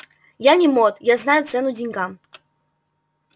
я не мот я знаю цену деньгам